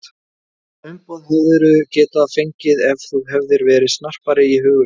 Þetta umboð hefðirðu getað fengið ef þú hefðir verið snarpari í hugsun